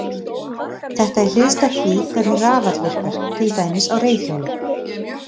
Þetta er hliðstætt því hvernig rafall virkar, til dæmis á reiðhjóli.